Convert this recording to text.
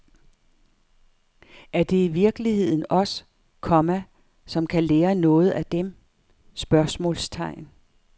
Er det i virkeligheden os, komma som kan lære noget af dem? spørgsmålstegn